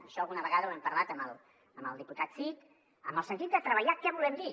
això alguna vegada ho hem parlat amb el diputat cid en el sentit de treballar què volem dir